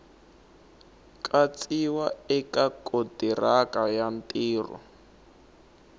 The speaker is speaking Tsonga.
katsiwa eka kontiraka ya ntirho